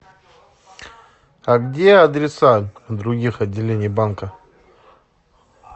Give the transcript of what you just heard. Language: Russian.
а где адреса других отделений банка